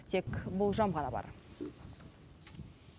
тек болжам ғана бар